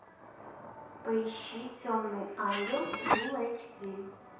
поищи темный ангел фул эйч ди